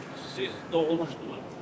Siz doğulmusunuz bura?